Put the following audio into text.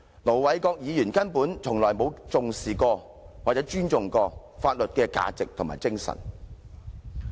盧議員根本從來沒有重視或尊重過法律的價值和精神。